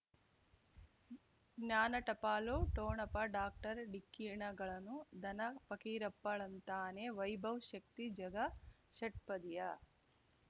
ಜ್ಞಾನ ಟಪಾಲು ಠೋಣಪ ಡಾಕ್ಟರ್ ಢಿಕ್ಕಿ ಣಗಳನು ಧನ ಫಕೀರಪ್ಪ ಳಂತಾನೆ ವೈಭವ್ ಶಕ್ತಿ ಝಗಾ ಷಟ್ಪದಿಯ